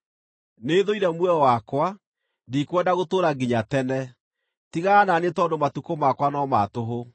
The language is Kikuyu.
Nĩthũire muoyo wakwa; ndikwenda gũtũũra nginya tene. Tigana na niĩ tondũ matukũ makwa no ma tũhũ.